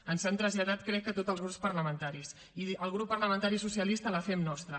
ens l’han traslladat crec que a tots els grups parlamentaris i el grup parlamentari socialista la fem nostra